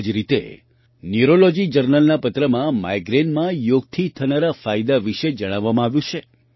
આ જ રીતે ન્યૂરૉલૉજી જર્નલના પત્રમાં માઇગ્રેનમાં યોગથી થનારા ફાયદા વિશે જણાવવામાં આવ્યું છે